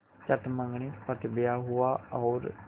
चट मँगनी पट ब्याह हुआ और